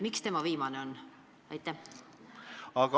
Miks tema viimane on?